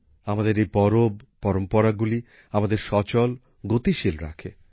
আমাদের এই পরব পরম্পরাগুলি আমাদের সচল গতিশীল রাখে